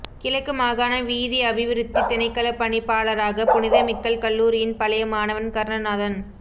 கிழக்கு மாகாண வீதிஅபிவிருத்தி திணைக்களப்பணிப்பாளராக புனிதமிக்கல் கல்லூரியின் பழைய மாணவன் கருணநாதன்